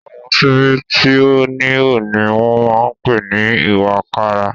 Àwọn ṣíbí tí ó níhò ni wọ́n máa ń pè ní ìwàkàrà.